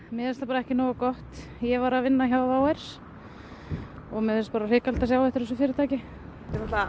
mér finnst það bara ekki nógu gott ég var að vinna hjá WOW air og mér finnst bara hrikalegt að sjá eftir þessu fyrirtæki þetta